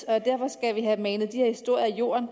og derfor skal vi have manet de her historier i jorden